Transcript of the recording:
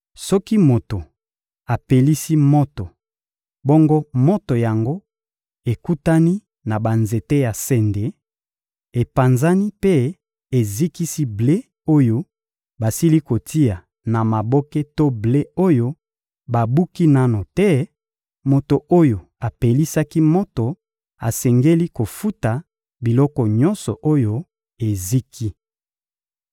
Soki moto apelisi moto, bongo moto yango ekutani na banzete ya sende, epanzani mpe ezikisi ble oyo basili kotia na maboke to ble oyo babuki nanu te, moto oyo apelisaki moto asengeli kofuta biloko nyonso oyo eziki.